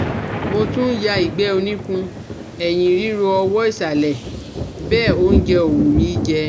Mo tún ń ya ìgbẹ́ oníkun, ẹ̀yìn ríro ọwọ́ ìsàlẹ̀ bẹ́ẹ̀ óúnjẹ ò wù mí jẹ